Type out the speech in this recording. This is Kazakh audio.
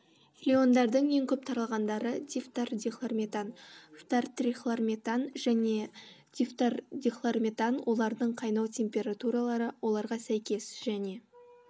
фреондардың ең көп таралғандары дифтордихлорметан фтортрихлорметан және дифтордихлорметан олардың қайнау температуралары оларға сәйкес және